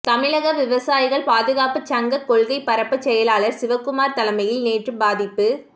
தமிழக விவசாயிகள் பாதுகாப்பு சங்க கொள்கை பரப்பு செயலாளர் சிவக்குமார் தலைமையில் நேற்று பாதிப்பு